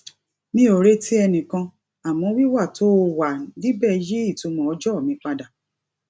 mi ò retí ẹnikẹni àmọ wíwà tó o wà níbẹ yí ìtumọ ọjọ mi padà